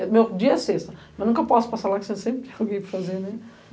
meu dia é sexta, mas nunca posso passar lá, que você sempre tem algo para fazer, né.